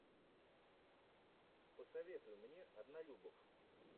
посоветуй мне однолюбов